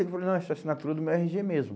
falou, não essa é assinatura do meu erre gê mesmo.